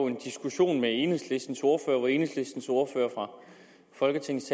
en diskussion med enhedslistens ordfører hvor enhedslistens ordfører fra folketingets